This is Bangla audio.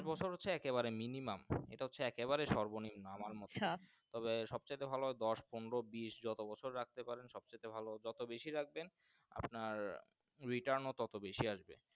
পাঁচ বছর হচ্ছে একবারে Minimum ইটা একে বাড়ে সর্ব নিম্ন আমার মোতে সাত তবে আমার সবচাইতে ভালো দশ পনেরো বিস্ যত বছর বাঁচতে পারেন সবচাইতে ভালো যত বেশি রাখবেন আপনার Return ও টোটো বেশি আসবে।